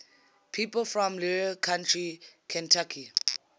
people from larue county kentucky